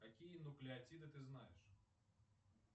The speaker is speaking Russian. какие нуклеотиды ты знаешь